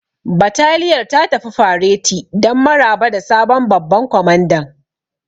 Bataliyar ta tafi fareti don maraba da sabon babban kwamandan.